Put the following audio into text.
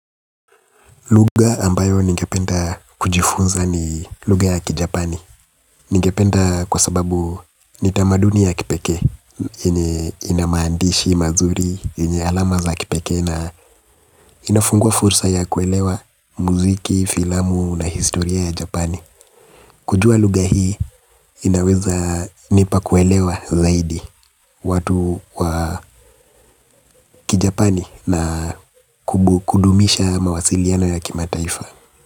Lugha ambayo ningependa kujifunza ni lugha ya kijapani. Ningependa kwa sababu ni tamaduni ya kipekee yenye ina maandishi, mazuri, yenye alama za kipekee. Na inafungua fursa ya kuelewa muziki, filamu na historia ya japani. Kujua lugha hii inawezanipa kuelewa zaidi watu wa kijapani na kudumisha mawasiliano ya kimataifa.